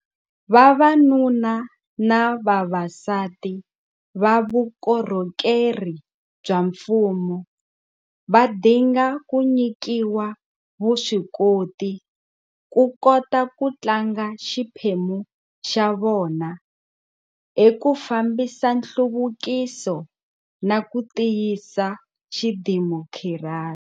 Vavanuna na vavasati va vukorhokeri bya mfumo va dinga ku nyikiwa vuswikoti ku kota ku tlanga xiphemu xa vona eku fambisa nhluvukiso na ku tiyisa xidemokirasi.